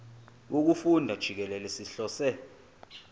wokufunda jikelele sihlose